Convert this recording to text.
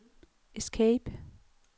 escape